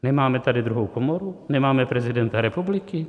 Nemáme tady druhou komoru, nemáme prezidenta republiky.